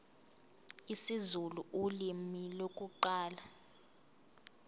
isizulu ulimi lokuqala